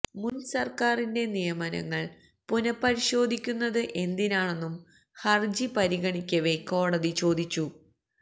മുൻ സർക്കാരിന്റെ നിയമനങ്ങൾ പുനഃപരിശോധിക്കുന്നത് എന്തിനാണെന്നും ഹർജി പരിഗണിക്കവേ കോടതി ചോദിച്ചു